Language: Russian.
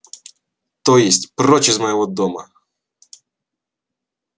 то есть прочь из моего дома